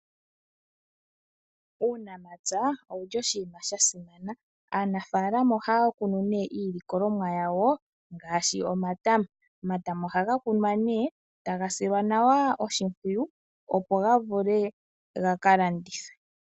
Uunamapya owuli oshinima sha simana aanafalama ohaya kunu nee iilikolomwa yawo ngaashi omatama. Omatama ohaga kunwa nee taga silwa nawa oshimpwiyu opo ga vule gaka landithwe.